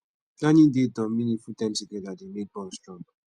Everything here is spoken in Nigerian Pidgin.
planning dates or meaningful time together dey make bond strong